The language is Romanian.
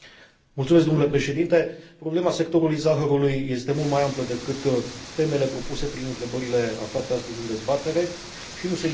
Problema sectorului zahărului este mult mai amplă decât temele propuse prin întrebările aflate astăzi în dezbatere și nu se limitează la trestia de zahăr.